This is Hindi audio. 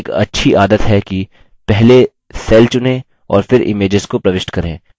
यह एक अच्छी आदत है कि पहले cell चुनें और फिर इमेजेस को प्रविष्ट करें